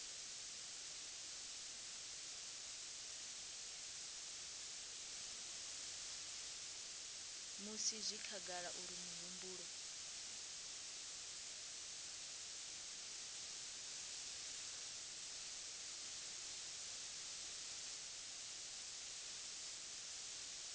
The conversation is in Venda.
musi zwi khagala uri mihumbulo